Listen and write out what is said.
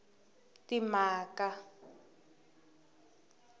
timhaka